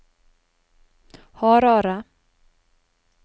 Harare